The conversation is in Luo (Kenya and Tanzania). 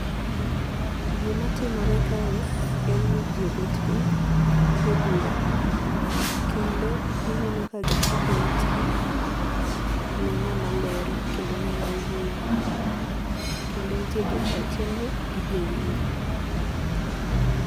Gima timore kae en ni ji obet piny e bura kendo gineno ka gichiko it gi ne ng'ama lero kendo ng'ama wuoyo kendo nitie jata chenro gi jowinjo.